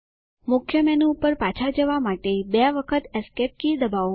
મુખ્ય મેનુ પર પાછા જવા માટે બે વખત એસ્કેપ કી દબાવો